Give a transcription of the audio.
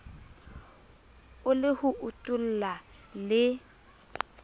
e le ho utulla le